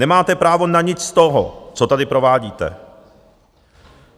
Nemáte právo na nic z toho, co tady provádíte.